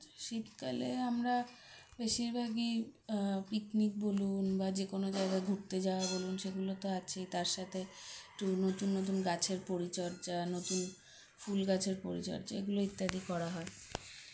শীতকালে আমরা বেশিরভাগই আ picnic বলুন বা যে কোন জায়গা ঘুরতে যাওয়া বলুন সেগুলো তো আছেই তার সাথে একটু নতুন নতুন গাছের পরিচর্যা নতুন ফুল গাছের পরিচর্যা এগুলো ইত্যাদি করা হয়